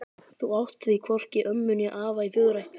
Þú átt því hvorki ömmu né afa í föðurætt.